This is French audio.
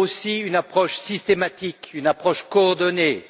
Il faut aussi une approche systématique et coordonnée.